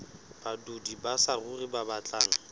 badudi ba saruri ba batlang